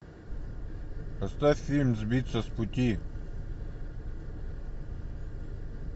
поставь фильм сбиться с пути